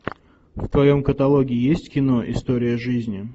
в твоем каталоге есть кино история жизни